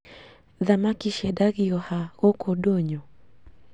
Thamaki ciendagĩo ha gũkũ ndũnyũ